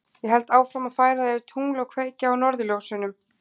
Ég held áfram að færa þér tungl og kveikja á norðurljósunum.